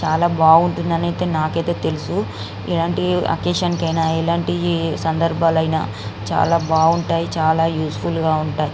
చాల బాగుంటుంది అని నాక అయతె తెలుఉసు ఎలాంటి ఒక్కతిఒన్ కి ఆయన ఎలంటి సంభరం ఆయన చాల బాగుంటాయి ఉపయోగకరమైన.